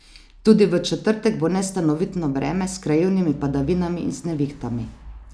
Tudi v četrtek bo nestanovitno vreme s krajevnimi padavinami in z nevihtami.